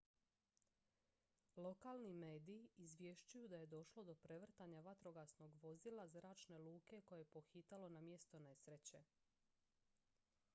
lokalni mediji izvješćuju da je došlo do prevrtanja vatrogasnog vozila zračne luke koje je pohitalo na mjesto nesreće